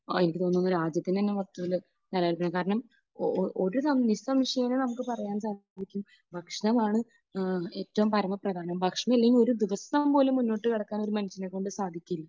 എനിക്ക് തോന്നുന്ന രാജ്യത്തിന് തന്നെ മൊത്തത്തിൽ നിലനിൽക്കുക. കാരണം ഒരു, നിസംശയം നമുക്ക് പറയാൻ സാധിക്കും, ഭക്ഷണമാണ് ഏറ്റവും പരമപ്രധാനം. ഭക്ഷണമില്ലെങ്കിൽ ഒരു ദിവസം പോലും മുന്നോട്ടുകടക്കാൻ ഒരു മനുഷ്യനെക്കൊണ്ട് സാധിക്കില്ല.